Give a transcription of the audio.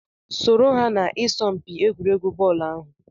Soro ha n'isọmpi egwuregwu bọọlu ahụ!